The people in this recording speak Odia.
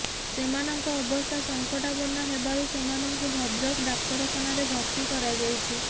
ସେମାନଙ୍କ ଅବସ୍ଥା ସଂକଟାପନ୍ନ ହେବାରୁ ସେମାନଙ୍କୁ ଭଦ୍ରକ ଡାକ୍ତରଖାନାରେ ଭର୍ତି କରାଯାଇଛି